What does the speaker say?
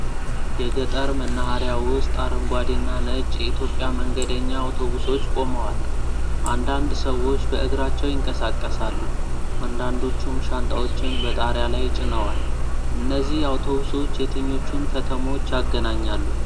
የገጠር መናኸሪያ ውስጥ አረንጓዴና ነጭ የኢትዮጵያ መንገደኛ አውቶቡሶች ቆመዋል ። አንዳንድ ሰዎች በእግራቸው ይንቀሳቀሳሉ ፤ አንዳንዶቹም ሻንጣዎችን በጣሪያ ላይ ጭነዋል ። እነዚህ አውቶቡሶች የትኞቹን ከተሞች ያገናኛሉ?